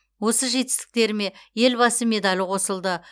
осы жетістіктеріме елбасы медалі қосылды